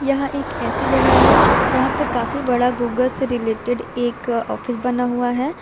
यह एक ऐसी जगह है जहां पे काफी बड़ा गूगल से रिलेटेड एक ऑफिस बना हुआ है।